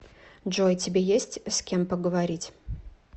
джой тебе есть с кем поговорить